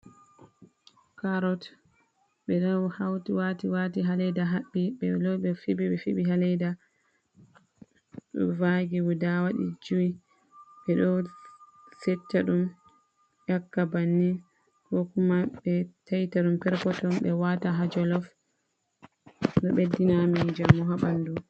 Carrott ɓe ɗo hauti wati wati ha leda haɓɓi be lori ɓe fiɓi ɓe fiɓi ha leda, ɗo vagi waɗi guda jui, ɓe ɗo setta ɗum yaka banni, ko kuma ɓe taita ɗum perpotton ɓe wata ha jolof, ɗo ɓe dina amin njamu ha ɓanɗu.